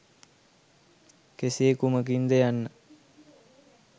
කෙසේ කුමකින් ද යන්න